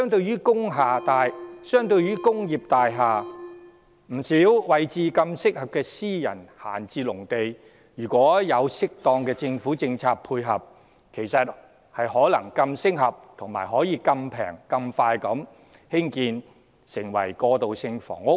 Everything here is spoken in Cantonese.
然而，相對於工業大廈，不少私人閒置農地位置更方便，如獲政府適當的政策配合，其實可以更適合、更便宜、更快供興建過渡性房屋。